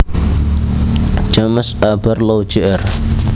James A Barlow jr